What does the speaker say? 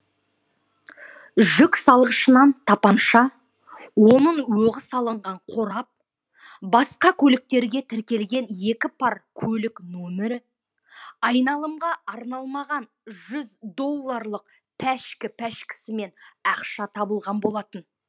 жүк салғышынан тапанша оның оғы салынған қорап басқа көліктерге тіркелген екі пар көлік нөмірі айналымға арналмаған жүз долларлық пәшкі пәшкісімен ақша табылған болатын